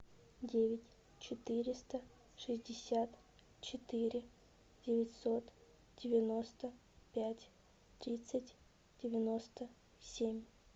девять четыреста шестьдесят четыре девятьсот девяносто пять тридцать девяносто семь